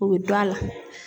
O be dɔn a la.